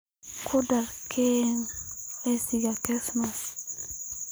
ku dar keeg liiska kirismaska